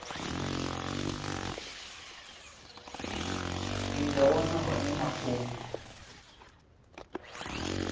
i nga wana hone mafhungo